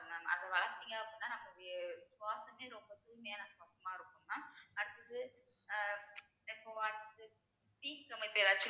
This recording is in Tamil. அதை வளர்த்தீங்க அப்படின்னா நமக்கு சுவாசமே ரொம்ப தூய்மையான சுத்தமா இருக்கும் mam அடுத்தது அஹ் இப்போ